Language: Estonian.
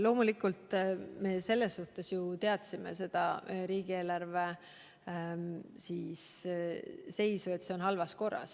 Loomulikult me teadsime riigieelarve seisu, seda, et see on halvas korras.